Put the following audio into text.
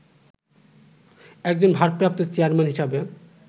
একজন 'ভারপ্রাপ্ত চেয়ারম্যান' হিসেবে